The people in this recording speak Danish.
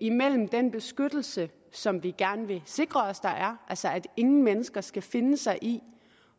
imellem den beskyttelse som vi gerne vil sikre os at der er altså at ingen mennesker skal finde sig i